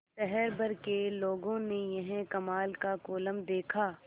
शहर भर के लोगों ने यह कमाल का कोलम देखा